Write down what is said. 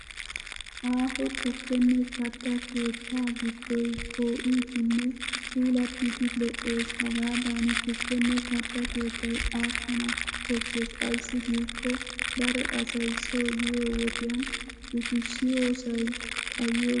Aaho tukkenne katta keettay gidddoy poo'idinne puulattidi lo'es. Hagaadan tukkenne katta keettay aakkana koshshes ayssi giikko daro asay so yiyo wodiyan uttiyoosay xayiyo gishshawu.